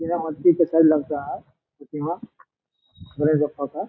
ये लगता है एक यहाँ है।